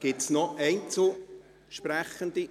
Gibt es noch Einzelsprechende?